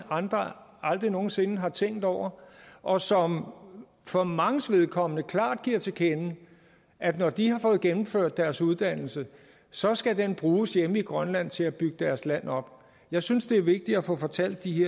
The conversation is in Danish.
andre aldrig nogen sinde har tænkt over og som for manges vedkommende klart giver til kende at når de har fået gennemført deres uddannelse så skal den bruges hjemme i grønland til at bygge deres land op jeg synes det er vigtigt at få fortalt de